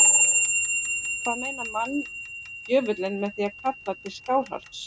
Hvað meinar manndjöfulinn með því að kalla til Skálholts?